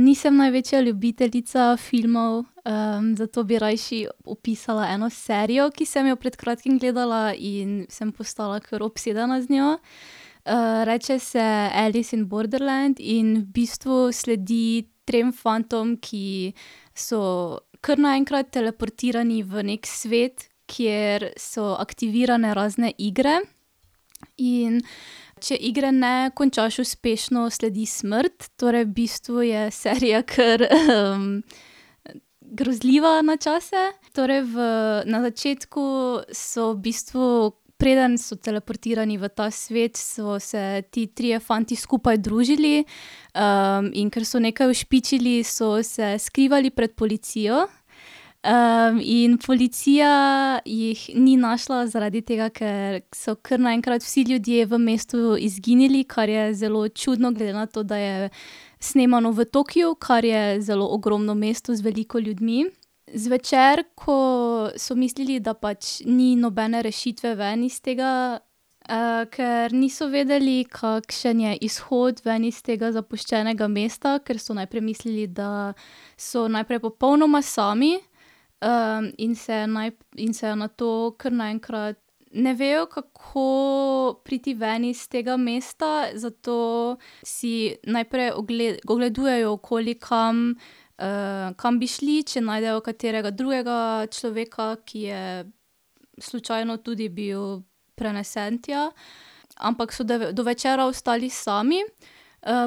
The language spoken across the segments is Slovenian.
nisem največja ljubiteljica filmov, zato bi rajši opisala eno serijo, ki sem jo pred kratkim gledala in sem postala kar obsedena z njo. reče se Alice in Borderland in v bistvu sledi trem fantom, ki so kar naenkrat teleportirani v neki svet, kjer so aktivirane razne igre, in če igre ne končaš uspešno, sledi smrt, torej v bistvu je serija kar, grozljiva na čase. Torej v na začetku so v bistvu preden so teleportirani v ta svet, so se ti trije fanti skupaj družili, in ker so nekaj ušpičili, so se skrivali pred policijo. in policija jih ni našla zaradi tega, ker so kar naenkrat vsi ljudje v mestu izginili, kar je zelo čudno, glede na to, da je snemano v Tokiu, kar je zelo ogromno mesto z veliko ljudmi. Zvečer, ko so mislili, da pač ni nobene rešitve ven iz tega, ker niso vedeli, kakšen je izhod ven iz tega zapuščenega mesta, ker so najprej mislili, da so najprej popolnoma sami, in se in se nato kar naenkrat ne vejo, kako priti ven iz tega mesta, zato si najprej ogledujejo okoli, kam, kam bi šli, če najdejo katerega drugega človeka, ki je slučajno tudi bil prenesen tja, ampak so do večera ostali sami.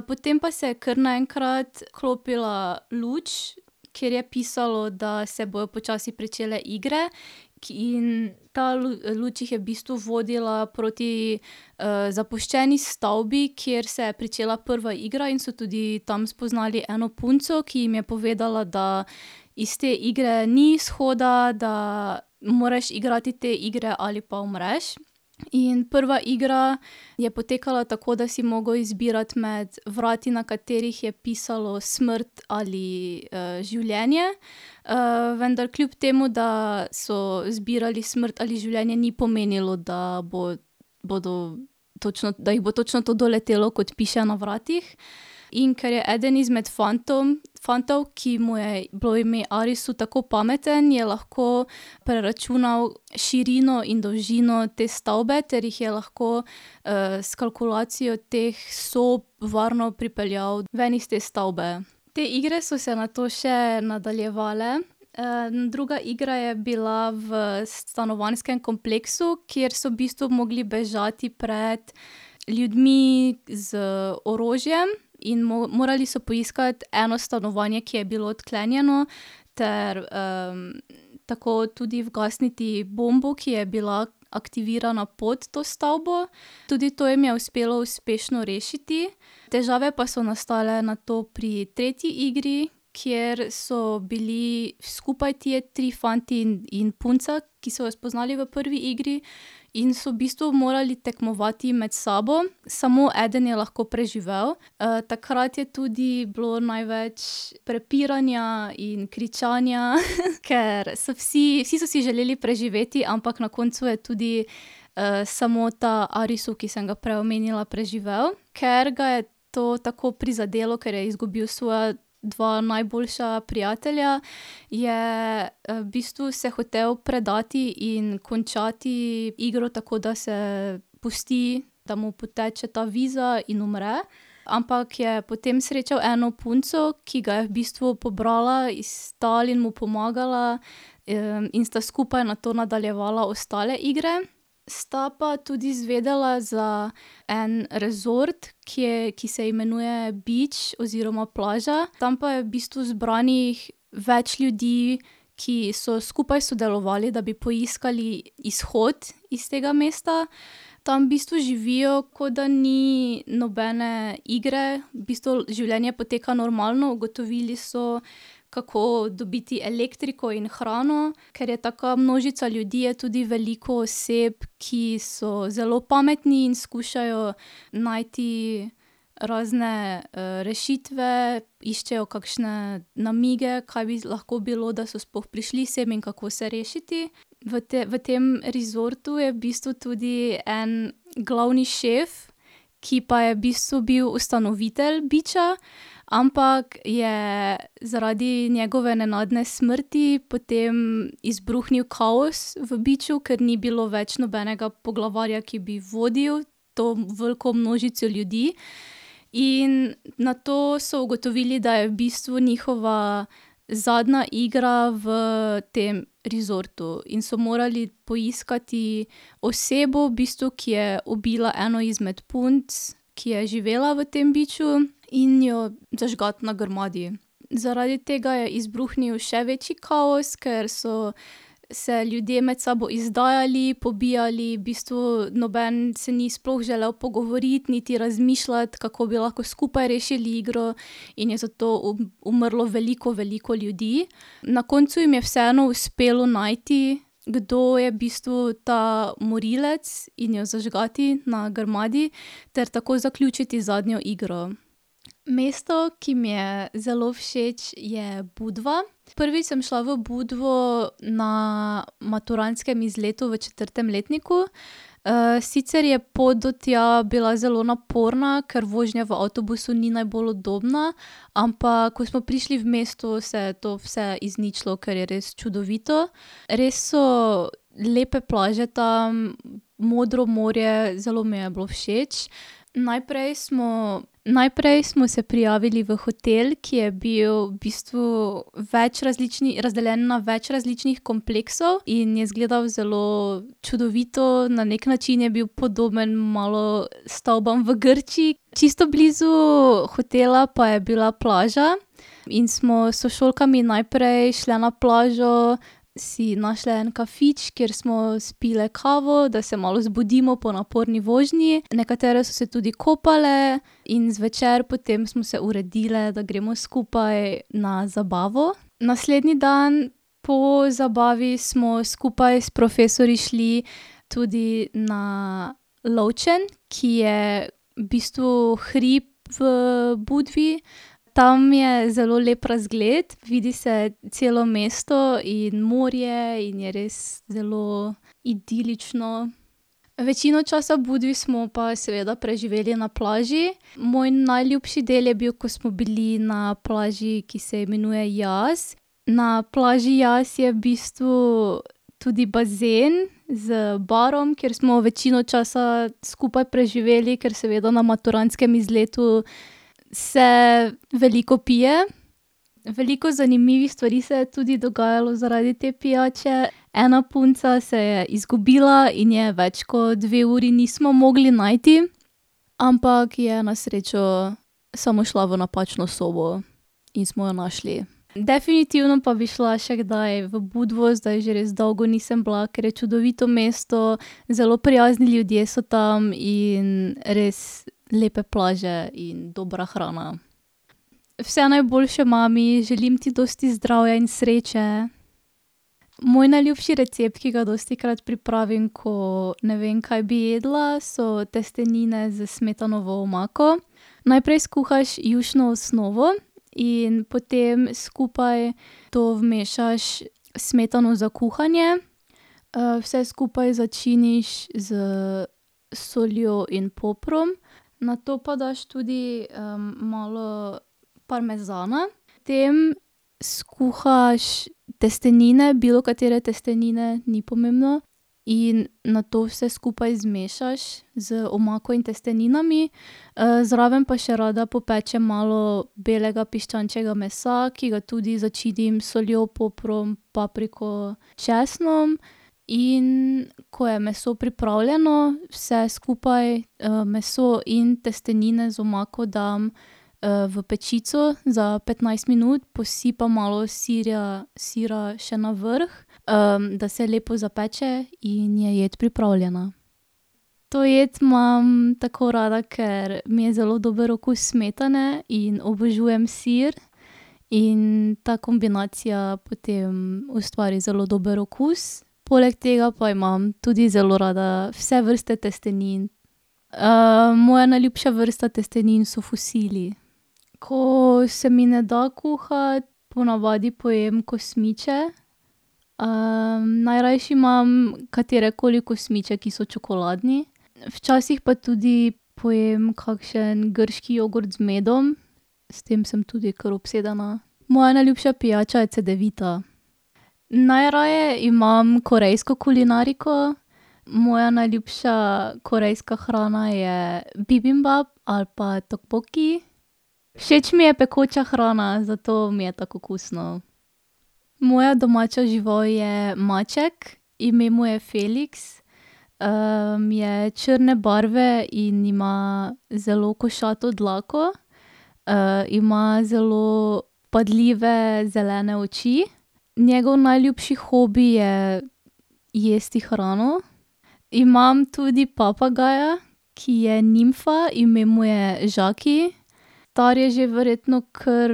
potem pa se je kar naenkrat vklopila luč, kjer pisalo, da se bojo počasi pričele igre, ki in ta luč jih je v bistvu vodila proti, zapuščeni stavbi, kjer se je pričela prva igra in so tudi tam spoznali eno punco, ki jim je povedala, da iz te igre ni izhoda, da moraš igrati te igre ali pa umreš. In prva igra je potekala tako, da si mogel izbirati med vrati, na katerih je pisalo smrt ali, življenje. vendar, kljub temu, da so izbirali smrt ali življenje, ni pomenilo, da bodo točno, da jih bo točno to doletelo, kot piše na vratih. In ker je eden izmed fantom, fantov, ki mu je bilo ime Arisu, tako pameten, je lahko preračunal širino in dolžino te stavbe ter jih je lahko, s kalkulacijo teh sobi varno pripeljal ven iz te stavbe. Te igre so se nato še nadaljevale. druga igra je bila v stanovanjskem kompleksu, kjer so v bistvu mogli bežati pred ljudmi, z orožjem in morali so poiskati eno stanovanje, ki je bilo odklenjeno ter, tako tudi ugasniti bombo, ki je bila aktivirana pod to stavbo. Tudi to jih je uspelo uspešno rešiti, težave so pa nastale nato pri tretji igri, kjer so bili skupaj ti tri fanti in, in punca, ki so jo spoznali v prvi igri. In so v bistvu morali tekmovati med sabo. Samo eden je lahko preživel, takrat je tudi bilo največ prepiranja in kričanja , ker so vsi, vsi, so si želeli preživeti, ampak na koncu je tudi, samo ta Arisu, ki sem ga prej omenjala, preživel, ker ga je to tako prizadelo, ker je izgubil svoja dva najboljša prijatelja, je, v bistvu se hotel predati in končati igro, tako da se pusti, da mu poteče ta viza in umre. Ampak je potem srečal eno punco, ki ga je v bistvu pobrala iz tal in mu pomagala, in sta skupaj nato nadaljevala ostale igre. Sta pa tudi izvedela za en resort, kjer, ki se imenuje Beach oziroma Plaža. Tam pa je v bistvu zbranih več ljudi, ki so skupaj sodelovali, da bi poiskali izhod iz tega mesta. Tam v bistvu živijo, kot da ni nobene igre, v bistvu življenje poteka normalno. Ugotovili so, kako dobiti elektriko in hrano, ker je taka množica ljudi, je tudi veliko oseb, ki so zelo pametni in skušajo najti razne, rešitve. Iščejo kakšne namige, kaj bi lahko bilo, da so sploh prišli sem in kako se rešiti. V tem, v tem resortu je v bistvu tudi en glavni šef, ki pa je v bistvu bil ustanovitelj Beacha, ampak je zaradi njegove nenadne smrti potem izbruhnil kaos v Beachu, ker ni bilo več nobenega poglavarja, ki bi vodil to veliko množico ljudi. In nato so ugotovili, da je v bistvu njihova zadnja igra v tem resortu in so morali poiskati osebo v bistvu, ki je ubila eno izmed punc, ki je živela v tem Beachu, in jo zažgati na grmadi. Zaradi tega je izbruhnil še večji kaos, ker so se ljudje med sabo izdajali, pobijali, v bistvu noben se ni sploh želel pogovoriti, niti razmišljati, kako bi lahko skupaj rešili igro, in je zato umrlo veliko, veliko ljudi. Na koncu jim je vseeno uspelo najti, kdo je v bistvu ta morilec, in jo zažgati na grmadi ter tako zaključiti zadnjo igro. Mesto, ki mi je zelo všeč, je Budva. Prvič sem šla v Budvo na maturantskem izletu v četrtem letniku. sicer je pot do tja bila zelo naporna, ker vožnja v avtobusu ni najbolj udobna, ampak ko smo prišli v mesto, se je to vse izničilo, ker je res čudovito. Res so lepe plaže tam, modro morje, zelo mi je bilo všeč. Najprej smo, najprej smo se prijavili v hotel, ki je bil v bistvu več različnih, razdeljen na več različnih kompleksov in je izgledal zelo čudovito, na neki način je bil podoben malo stavbam v Grčiji. Čisto blizu hotela pa je bila plaža in smo s sošolkami najprej šle na plažo, si našle en kafič, kjer smo spile kavo, da se malo zbudimo po naporni vožnji. Nekatere so se tudi kopale in zvečer potem smo se uredile, da gremo skupaj na zabavo. Naslednji dan po zabavi smo skupaj s profesorji šli tudi na Lovčen, ki je v bistvu hrib v Budvi. Tam je zelo lep razgled, vidi se celo mesto in morje in je res zelo idilično. Večino časa v Budvi smo pa seveda preživeli na plaži. Moj najljubši del je bil, ko smo bili na plaži, ki se imenuje Jaz. Na plaži Jaz je v bistvu tudi bazen z barom, kjer smo večino časa skupaj preživeli, ker seveda na maturantskem izletu se veliko pije. Veliko zanimivih stvari se je tudi dogajalo zaradi te pijače. Ena punca se je izgubila in je več kot dve uri nismo mogli najti. Ampak je na srečo samo šla v napačno sobo in smo jo našli. Definitivno pa bi šla še kdaj v Budvo, zdaj že res dolgo nisem bila, ker je čudovito mesto, zelo prijazni ljudje so tam in res lepe plaže in dobra hrana. Vse najboljše, mami. Želim ti dosti zdravja in sreče. Moj najljubši recept, ki ga dostikrat pripravim, ko ne vem, kaj bi jedla, so testenine s smetanovo omako. Najprej skuhaš jušno osnovo in potem skupaj to vmešaš smetano za kuhanje. vse skupaj začiniš s soljo in poprom, nato pa daš tudi, malo parmezana tem skuhaš testenine, bilokatere testenine, ni pomembno. In nato vse skupaj zmešaš z omako in testeninami. zraven pa še rada popečem malo belega piščančjega mesa, ki ga tudi začinim s soljo, poprom, papriko, česnom. In ko je meso pripravljeno, vse skupaj, meso in testenine z omako dam, v pečico za petnajst minut, posipam malo sirja, sira še navrh, da se lepo zapeče in je jed pripravljena. To jed imam tako rada, ker mi je zelo dober okus smetane in obožujem sir in ta kombinacija potem ustvari zelo dober okus, poleg tega pa imam tudi zelo rada vse vrste testenin. moja najljubša vrsta testenin so fusili. Ko se mi ne da kuhati, ponavadi pojem kosmiče. najrajši imam katerekoli kosmiče, ki so čokoladni. Včasih pa tudi pojem kakšen grški jogurt z medom. S tem sem tudi kar obsedena. Moja najljubša pijača je cedevita. Najraje imam korejsko kulinariko. Moja najljubša korejska hrana je bibimbap ali pa tteokbokki. Všeč mi je pekoča hrana, zato mi je tako okusno. Moja domača žival je maček, ime mu je Feliks. je črne barve in ima zelo košato dlako. ima zelo vpadljive zelene oči. Njegov najljubši hobi je jesti hrano. Imam tudi papagaja, ki je nimfa, ime mu je Žaki. Star je že verjetno kar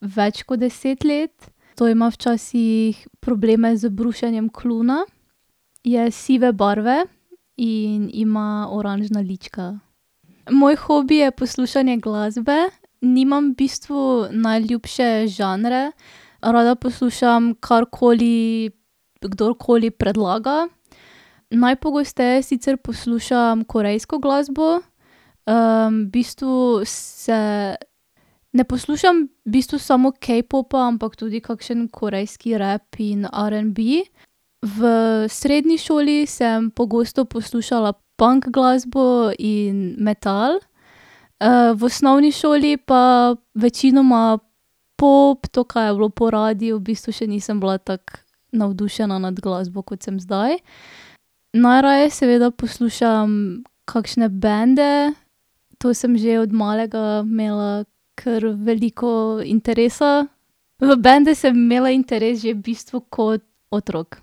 več kot deset let to ima včasih probleme z brušenjem kljuna. Je sive barve in ima oranžna lička. Moj hobi je poslušanje glasbe. Nimam v bistvu najljubše žanre. Rada poslušam karkoli kdorkoli predlaga. Najpogosteje sicer poslušam korejsko glasbo, v bistvu se ne poslušam v bistvu samo K-popa, ampak tudi kakšen korejski rap in r'n'b. V srednji šoli sem pogosto poslušala punk glasbo in metal. v osnovni šoli pa večinoma pop, to, kar je bilo po radiu, v bistvu še nisem bila tako navdušena nad glasbo, kot sem zdaj. Najraje seveda poslušam kakšne bende, to sem že od malega imela kar veliko interesa. V bende sem imela interes v bistvu kot otrok.